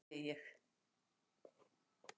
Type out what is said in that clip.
"""NEI, HVAÐ SÉ ÉG!"""